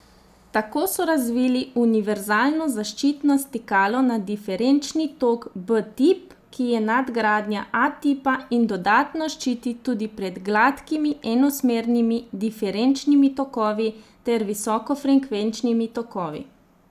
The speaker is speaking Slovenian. Tako so razvili univerzalno zaščitno stikalo na diferenčni tok B tip, ki je nadgradnja A tipa in dodatno ščiti tudi pred gladkimi enosmernimi diferenčnimi tokovi ter visokofrekvenčnimi tokovi.